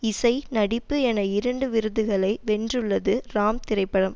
இசை நடிப்பு என இரண்டு விருதுகளை வென்றுள்ளது ராம் திரைப்படம்